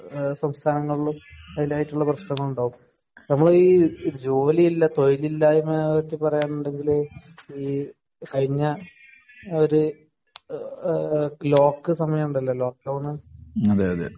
സംസ്ഥാനങ്ങളിലും അതിന്റേതായ പ്രശ്നങ്ങൾ ഉണ്ടാകും അപ്പോ ഈ ജോലി ഇല്ല തൊഴിലില്ലായ്മ എന്നൊക്കെ പറയാന്നുണ്ടെങ്കില് ഈ കഴിഞ്ഞ ഒരു ലോക്ക് സമായമുണ്ടല്ലോ ലോക്ക് ഡൌൺ